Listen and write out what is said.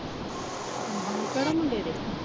ਕਿਹੜੇ ਮੁੰਡੇ ਦੇ?